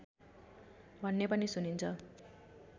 भन्ने पनि सुनिन्छ